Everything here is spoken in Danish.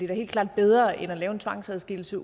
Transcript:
helt klart bedre end at lave en tvangsadskillelse